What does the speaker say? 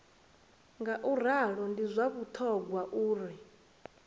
ngauralo ndi zwa vhuṱhogwa uri